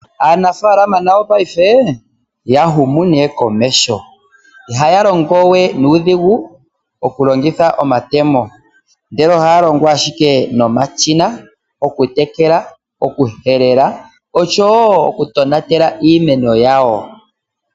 Aanafaalama nayo paife oya huma komeho. Ihaya longo we nuudhigu okulongitha omatemo, ndele ohaya longo owala nomashina okutekela, okuhelela noshowo okutonatela iimeno yawo.